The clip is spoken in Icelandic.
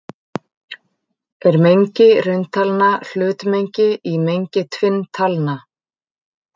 Er mengi rauntalna hlutmengi í mengi tvinntalna?